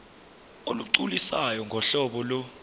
olugculisayo ngohlobo lo